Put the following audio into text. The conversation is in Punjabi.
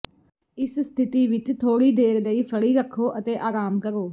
ਇਸ ਸਥਿਤੀ ਵਿੱਚ ਥੋੜ੍ਹੀ ਦੇਰ ਲਈ ਫੜੀ ਰੱਖੋ ਅਤੇ ਆਰਾਮ ਕਰੋ